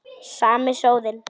Sami sóðinn.